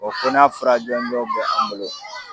fɔ n'a fura jɔnjɔn bɛ an bolo.